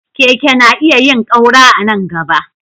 Keke na iya yin ƙaura a nan gaba.